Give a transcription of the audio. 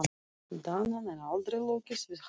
Danann, en aldrei lokið við hana.